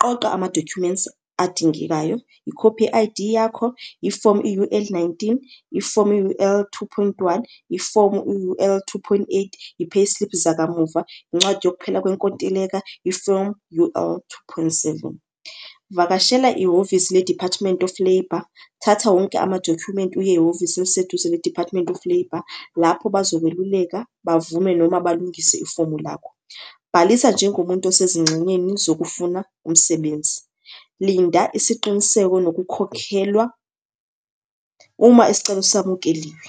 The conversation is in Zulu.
Qoqa ama-documents adingekayo, ikhophi ye-I_D yakho, ifomu i-U_L nineteen, ifomu i-U_L two point one, ifomu u-U_L two point eight, i-payslip zakamuva, incwadi yokuphela kwenkontileka, ifomu U_L two point seven. Vakashela ihhovisi le-Department of Labour, thatha wonke amadokhumenti uye ehhovisi eliseduze ne-Department of Labour, lapho bazokweluleka, bavume noma balungise ifomu lakho. Bhalisa njengomuntu osezingxenyeni zokufuna umsebenzi. Linda isiqiniseko nokukhokhelwa uma isicelo samukeliwe.